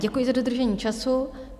Děkuji za dodržení času.